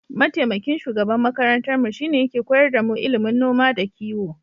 Mataimakin shugaban makarantarmu shine yake koyar damu ilimin noma da kiyo.